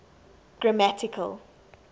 grammatical